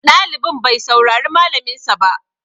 Ɗalibin bai saurari malaminsa ba.